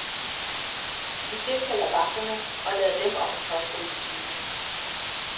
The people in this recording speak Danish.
Vi tilkalder vagterne og lader dem om at pågribe tyvene.